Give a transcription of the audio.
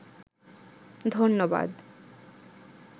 ধন্যবাদ